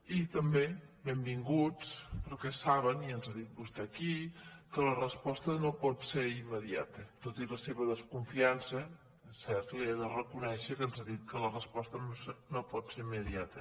i també benvinguts per·què saben i ens ho ha dit vostè aquí que la resposta no pot ser immediata tot i la seva desconfiança és cert li he de reconèixer que ens ha dit que la resposta no pot ser immediata